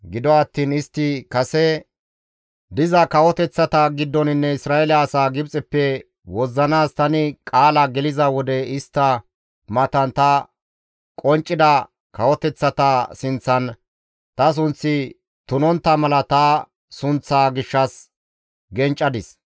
Gido attiin istti kase diza kawoteththa giddoninne Isra7eele asaa Gibxeppe wozzanaas tani qaala geliza wode istta matan ta qonccida kawoteththata sinththan ta sunththi tunontta mala ta sunththaa gishshas genccadis.